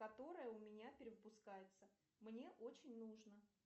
которая у меня перевыпускается мне очень нужно